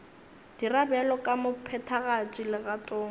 dira bjalo ka mophethagatši legatong